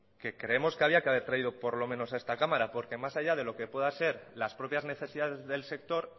que creemos que había que haber traído por lo menos a esta cámara porque más allá de lo que pueda ser las propias necesidades del sector